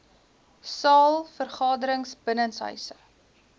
saal vergaderings binnenshuise